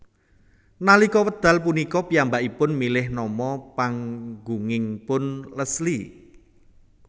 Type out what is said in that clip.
Nalika wekdal punika piyambakipun milih nama panggungipun Leslie